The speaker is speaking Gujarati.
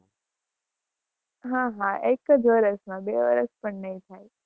હા હા એક જ વર્ષ માં બે વર્ષ પણ નહિ થાય.